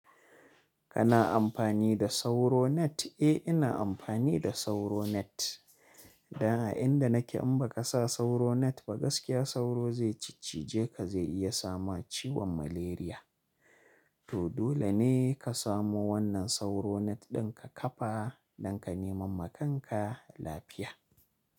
Kana amfani da sauro net? Eh ina amfani da sauro net. Dan a inda nake in ba ka sa sauro net ba gaskiya sauro zai ciccige ka zai iya sama ciwon malaria. To dole ne ka samu wannan sauro net ɗin ka kafa don ka neman makanka lafiya.